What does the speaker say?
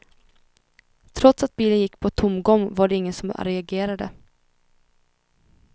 Trots att bilen gick på tomgång var det ingen som reagerade.